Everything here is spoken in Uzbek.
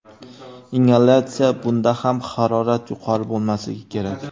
Ingalyatsiya Bunda ham harorat yuqori bo‘lmasligi kerak.